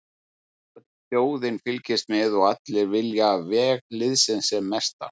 Öll þjóðin fylgist með og allir vilja veg liðsins sem mestan.